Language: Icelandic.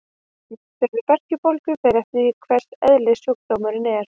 Meðferð við berkjubólgu fer eftir því hvers eðlis sjúkdómurinn er.